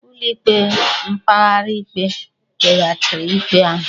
Ụlọikpe mkpegharị ikpe kpeghachiri ikpe ahụ